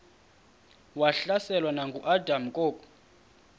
wahlaselwa nanguadam kok